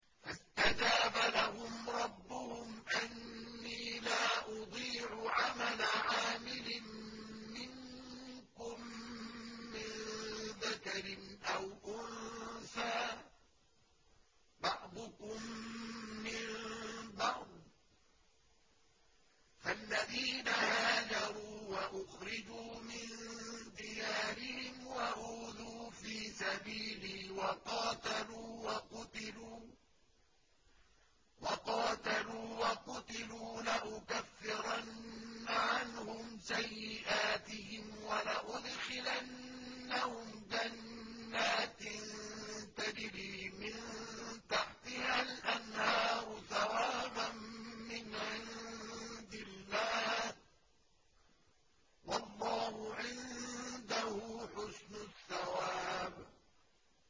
فَاسْتَجَابَ لَهُمْ رَبُّهُمْ أَنِّي لَا أُضِيعُ عَمَلَ عَامِلٍ مِّنكُم مِّن ذَكَرٍ أَوْ أُنثَىٰ ۖ بَعْضُكُم مِّن بَعْضٍ ۖ فَالَّذِينَ هَاجَرُوا وَأُخْرِجُوا مِن دِيَارِهِمْ وَأُوذُوا فِي سَبِيلِي وَقَاتَلُوا وَقُتِلُوا لَأُكَفِّرَنَّ عَنْهُمْ سَيِّئَاتِهِمْ وَلَأُدْخِلَنَّهُمْ جَنَّاتٍ تَجْرِي مِن تَحْتِهَا الْأَنْهَارُ ثَوَابًا مِّنْ عِندِ اللَّهِ ۗ وَاللَّهُ عِندَهُ حُسْنُ الثَّوَابِ